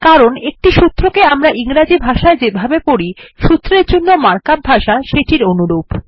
কারণ একটি সূত্রকে আমরা ইংরাজি ভাষায় যেভাবে পড়ি একটি সূত্রের জন্য মার্ক আপ ভাষা তার অনুরূপ